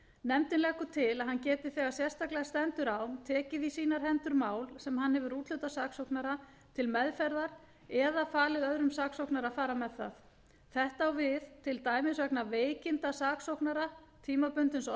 nefndin leggur til að hann geti þegar sérstaklega stendur á tekið í sínar hendur mál sem hann hefur úthlutað saksóknara til meðferðar eða falið öðrum saksóknara að fara með það þetta á við til dæmis vegna veikinda saksóknara tímabundins